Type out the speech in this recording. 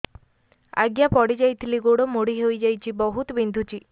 ଆଜ୍ଞା ପଡିଯାଇଥିଲି ଗୋଡ଼ ମୋଡ଼ି ହାଇଯାଇଛି ବହୁତ ବିନ୍ଧୁଛି